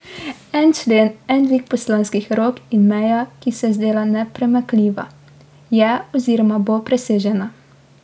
En člen, en dvig poslanskih rok, in meja, ki se je zdela nepremakljiva, je oziroma bo presežena.